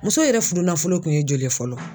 Muso yɛrɛ furunafolo kun ye joli ye fɔlɔ